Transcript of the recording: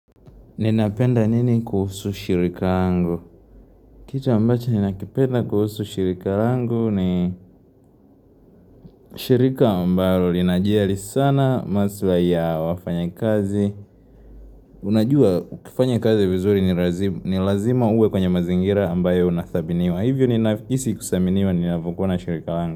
Ninapenda nini kuhusu shirika lango? Kitu ambacha ninakipenda kuhusu shirika lango ni shirika ambalo linajiali sana maswa ya wafanya kazi. Unajua ukifanya kazi vizuri ni lazima uwe kwenye mazingira ambayo unathabiniwa. Hivyo ninapokua na shirika lango.